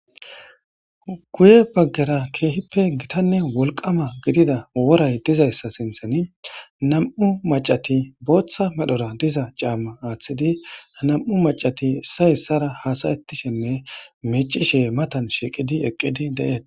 guye baggera keehippe gitanne wolqama gidida woray dizayssa sinthan nam7u macati booththa madhora diza caamma aaththidi nam7u macati say essara haasayettishenne mecishe matan shiiqidi eqqidi de7eetes